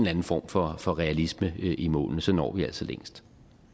anden form for for realisme i målene for så når vi altså længst